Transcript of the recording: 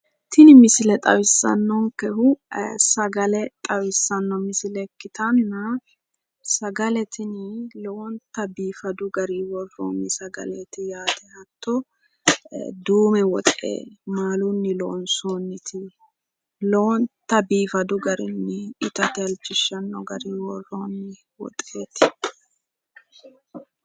Tini misile xawissannonkehu sagale xawissanno misile ikkitanna sagale tini lowonta biifadu gariyi worroonni sagaleeti yaate. Hatto duume woxe maalunni loonsoonniti lowonta biifadu garinni itate halchishshanno garinni worroonni woxeeti.